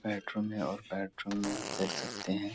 Bedroom में और bedroom में आप देख सकते हैं।